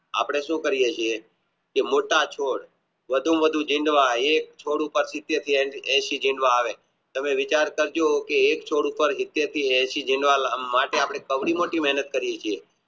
આપણે શું કરીયે છીએ કે મોટા છોડ વધુમાં વધુ ડીંડવા એ એંશી ડીંડવા આવે તમે વિચાર કરજો કે એક છોડ ઉપર સીતેર થી એંશી જેટલા માટે આપણે મહેનત કરીયે છીએ